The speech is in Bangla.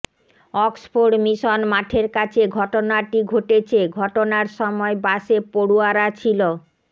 অক্সফোর্ড মিশন মাঠের কাছে ঘটনাটি ঘটেছে ঘটনার সময় বাসে পড়ুয়ারা ছিল